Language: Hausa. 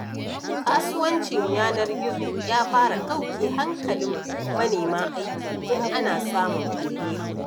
Kasuwancin yanar gizo ya fara ɗauke hankalin manema aiki, tun ana samun alheri.